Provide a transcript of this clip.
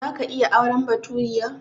Za ka iya auren baturiya?